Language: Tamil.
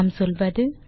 நாம் சொல்வது